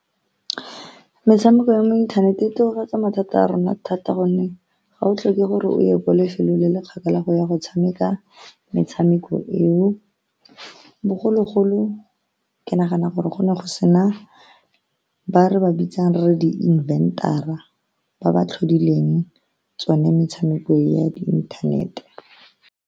Metshameko ya mo inthaneteng o tokafatsa mathata a rona thata, ka gonne ga o tlhoke gore o ye kwa lefelong le le kgakala go ya go tshameka metshameko eo. Bogologolo ke nagana gore go ne go sena ba re ba bitsang re re di-invent-ara ba ba tlhodileng tsone metshameko e ya di inthanete.